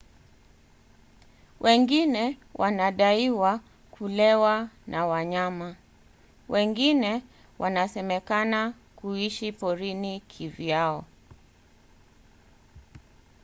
wengine wanadaiwa kulewa na wanyama; wengine wanasemekana kuishi porini kivyao